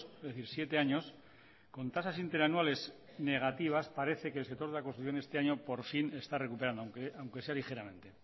es decir siete años con tasas interanuales negativas parece que el sector de la construcción este año por fin está recuperando aunque sea ligeramente